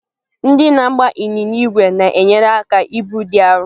Ndị na-agba ịnyịnya ígwè na-enyere aka ibu dị arọ.